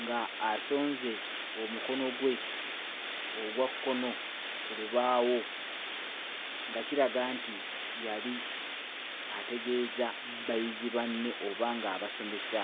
ng'asonze omukono gwe ogwa kkono ku lubaawo nga kiraga nti yali ategeeza bayizi banne oba ng'abasomesa.